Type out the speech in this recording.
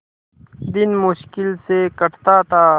दिन मुश्किल से कटता था